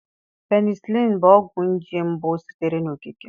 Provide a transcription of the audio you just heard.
Penicịlin bụ ọgwụ nje mbụ sitere n'okike.